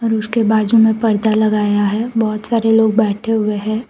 और उसके बाजू में पर्दा लगाया है बहुत सारे लोग बैठे हुए हैं।